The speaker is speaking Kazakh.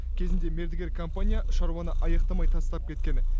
кезінде мердігер компания шаруаны аяқтамай тастап кеткен